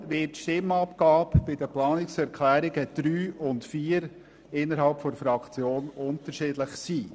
Deshalb wird die Stimmabgabe bei den Planungserklärungen 3 und 4 innerhalb der FDP-Fraktion unterschiedlich ausfallen.